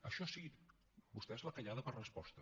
això sí vostès la callada per resposta